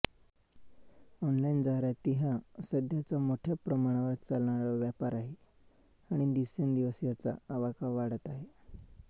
online जाहिराती हा सध्याचा मोठया प्रमाणावर चालणारा व्यापार आहे आणि दिवसेंदिवस याचा आवाका वाढत आहे